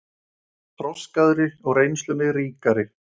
Þroskaðri og reynslunni ríkari!